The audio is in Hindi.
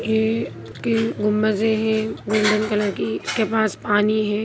ये एक गुम्बंदे हैं गोल्डन कलर की इसके पास पानी है ।